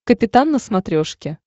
капитан на смотрешке